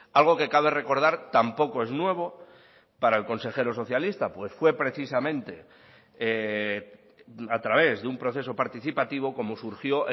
algo que cabe recordar tampoco es nuevo para el consejero socialista pues fue precisamente a través de un proceso participativo como surgió